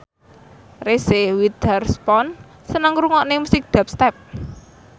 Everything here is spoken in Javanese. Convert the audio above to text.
Reese Witherspoon seneng ngrungokne musik dubstep